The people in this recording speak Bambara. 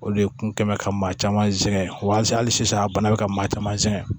Olu de kun kɛn bɛ ka maa caman zɛn wali sisan a bana bɛ ka maa caman sɛgɛn